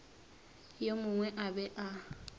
yo mongwe a be a